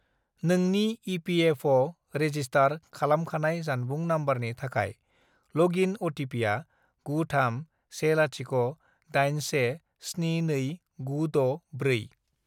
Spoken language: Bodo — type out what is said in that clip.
नोंनि इपिएफअ'आव रेजिस्टार खालामखानाय जानबुं नम्बरनि थाखाय लगइन अटिपिआ गु थाम से लाथिख' दाइन से स्नि नै गु द' ब्रै।